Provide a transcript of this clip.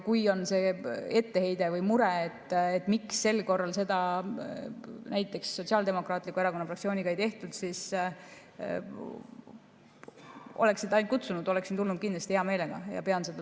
Kui on etteheide või mure, miks sel korral seda näiteks Sotsiaaldemokraatliku Erakonna fraktsiooniga ei tehtud, siis ütlen, et kui oleksite kutsunud, oleksin kindlasti hea meelega tulnud.